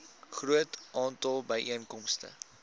groot aantal byeenkomste